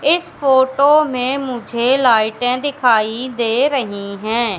इस फोटो में मुझे लाइटें दिखाई दे रही हैं।